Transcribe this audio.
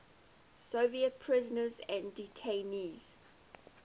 soviet prisoners and detainees